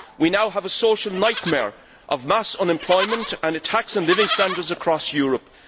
We now have a social nightmare of mass unemployment and a tax on living standards across Europe.